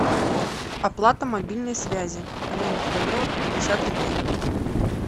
оплата мобильной связи алена федорова пятьдесят рублей